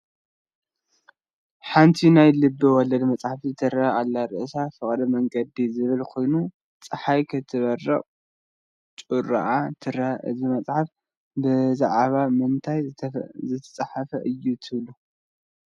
ሓንቲ ናይ ልበ ወለድ መፅሓፍ ትረአ ኣላ፡፡ ርእሳ በፍቅር መንገድ ዝብል ኮይኑ ፀሓይ ክትበርቕ ጩሯኣ ትረአ፡፡ እዚ መፅሓፍ ብዛዕባ ምንታይ ዝተፃሕፈ እዩ ትብሉ?